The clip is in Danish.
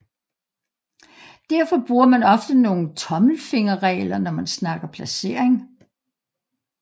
Derfor bruger man ofte nogle tommelfinger regler når man snakker placering